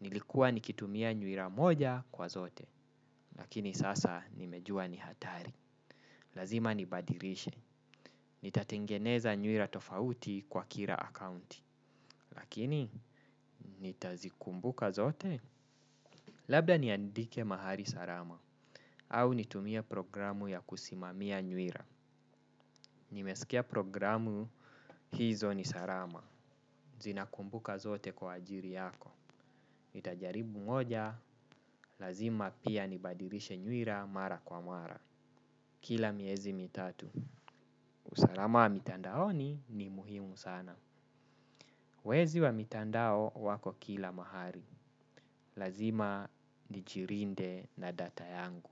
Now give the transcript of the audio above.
Nilikuwa nikitumia nyuila moja kwa zote. Lakini sasa nimejua ni hatari. Lazima nibadilishe. Nitatengeneza nyuila tofauti kwa kila akaunti. Lakini nitazikumbuka zote. Labda niandike mahali salama, au nitumie programu ya kusimamia nyuila. Nimeskia programu hizo ni salama. Zinakumbuka zote kwa ajili yako. Itajaribu moja, lazima pia nibadilishe nyuila mara kwa mara. Kila miezi mitatu. Usalama wa mitandaoni ni muhimu sana. Wezi wa mitandao wako kila mahali. Lazima nijilinde na data yangu.